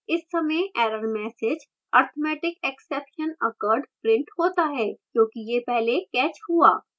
इस समय error message arithmetic exception occurred printed होता है क्योंकि यह पहले caught हुआ